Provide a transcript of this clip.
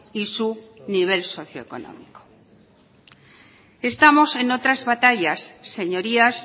y su nivel socio económico estamos en otras batallas señorías